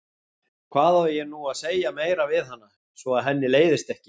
Hvað á ég nú að segja meira við hana, svo að henni leiðist ekki?